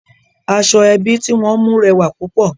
Aṣọ ẹbi tí wọ́n mú rẹwà púpọ̀